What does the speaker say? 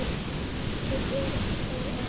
Sindri: Er það ekki?